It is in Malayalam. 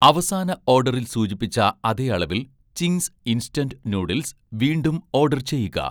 അവസാന ഓഡറിൽ സൂചിപ്പിച്ച അതേ അളവിൽ 'ചിംഗ്സ് ഇൻസ്റ്റന്റ് നൂഡിൽസ്' വീണ്ടും ഓഡർ ചെയ്യുക